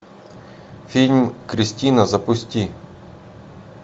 фильм кристина запусти